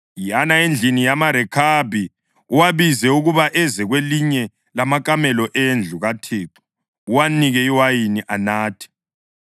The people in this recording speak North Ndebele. “Yana endlini yamaRekhabi uwabize ukuba eze kwelinye lamakamelo endlu kaThixo uwanike iwayini anathe.”